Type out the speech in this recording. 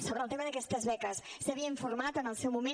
sobre el tema d’aquestes beques s’havia informat en el seu moment